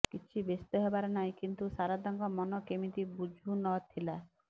କିଛି ବ୍ୟସ୍ତ ହେବାର ନାହିଁ କିନ୍ତୁ ଶାରଦାଙ୍କ ମନ କେମିତି ବୁଝୁ ନ ଥିଲା